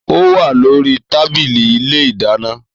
Ò wà lori tàbílì ìlé ìdàná.